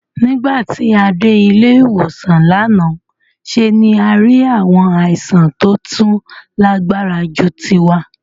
Nígbà tí a dé ilé-ìwòsàn lánàá ṣe ni a rí àwọn àìsàn tó tún lágbára ju tiwa.